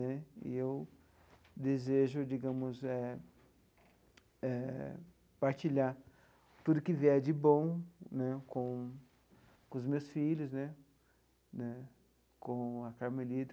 Né e eu desejo, digamos eh eh, partilhar tudo que vier de bom né com com os meus filhos né né, com a Carmelita,